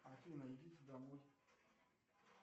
афина идите домой